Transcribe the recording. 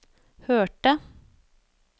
hørte